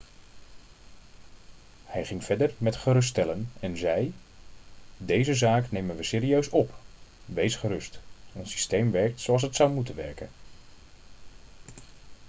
hij ging verder met geruststellen en zei: 'deze zaak nemen we serieus op. wees gerust ons systeem werkt zoals het zou moeten werken.'